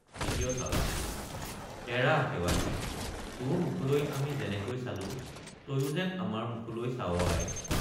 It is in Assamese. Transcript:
২য় চাওডাং—এৰা শেৱালি তোৰ মুখলৈ আমি যেনেকৈ চালো তয়ো যেন আমাৰ মুখলৈ চাৱ আই।